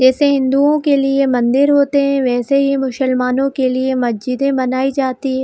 जैसे हिन्दुओ के लिए मंदिर होते हैवैसे मुसलमानों के लिए मस्जिदे बनाई जाती --